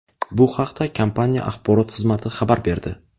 Bu haqda kompaniya axborot xizmati xabar berdi .